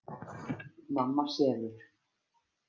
Mamma sefur.